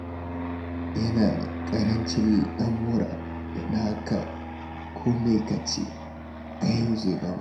Yana da ƙarancin lamura, don haka, ko me ka ce, a yau zai gama.